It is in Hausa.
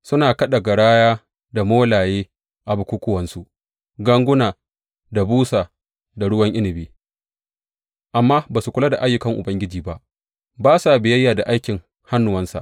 Suna kaɗa garaya, da molaye a bukukkuwansu, ganguna da busa da ruwan inabi, amma ba su kula da ayyukan Ubangiji ba, ba sa biyayya ga aikin hannuwansa.